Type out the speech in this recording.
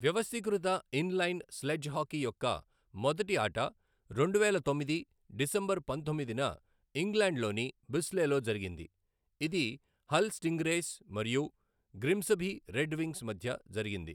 వ్యవస్థీకృత inline sledge hockey యొక్క మొదటి ఆట రెండువేల తొమ్మిది డిసెంబర్ పంతొమ్మిదిన ఇంగ్లండ్ లోని బిస్లేలో జరిగింది, ఇది హల్ స్టింగ్రేస్ మరియు గ్రిమ్సబీ రెడ్ వింగ్స్ మధ్య జరిగింది.